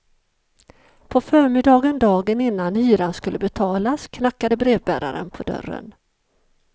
På förmiddagen dagen innan hyran skulle betalas, knackade brevbäraren på dörren.